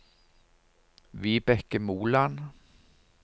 Vibeke Moland